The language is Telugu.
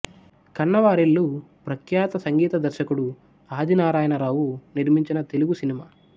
కన్నవారిల్లు ప్రఖ్యాత సంగీత దర్శకుడు ఆదినారాయణరావు నిర్మించిన తెలుగు సినిమా